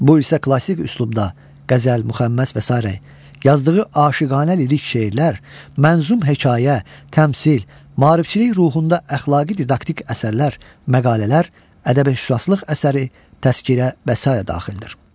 Bu hissə klassik üslubda qəzəl, müxəmməs və sairə, yazdığı aşıqanə lirik şeirlər, mənzum hekayə, təmsil, maarifçilik ruhunda əxlaqi didaktik əsərlər, məqalələr, ədəbi-şüurlılıq əsəri, təzkirə və sairə daxildir.